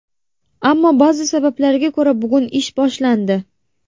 Ammo ba’zi sabablarga ko‘ra bugun ish boshlandi.